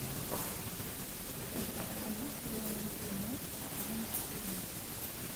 покажи сериал рик и морти сезон четырнадцать